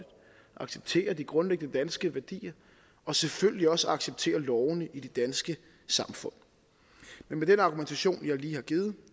acceptere de grundlæggende danske værdier og selvfølgelig også acceptere lovene i det danske samfund med den argumentation jeg lige har givet